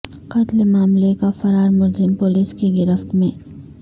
قتل معاملے کا فرار ملزم پولس کی گرفت میں